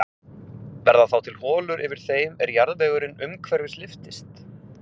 Verða þá til holur yfir þeim er jarðvegurinn umhverfis lyftist.